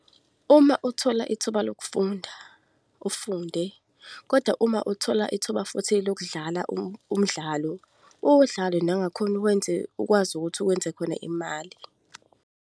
Uma uthola ithuba lokufunda, ufunde, kodwa uma uthola ithuba futhi lokudlala umdlalo, uwudlale nangakhona uwenze, ukwazi ukuthi uwenze khona imali.